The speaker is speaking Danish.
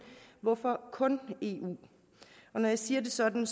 hvorfor kun i eu når jeg siger det sådan